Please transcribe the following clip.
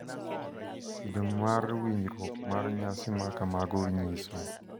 Kido mar riwruok mar nyasi ma kamago nyiso .